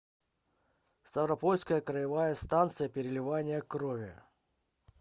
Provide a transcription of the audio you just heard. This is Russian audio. ставропольская краевая станция переливания крови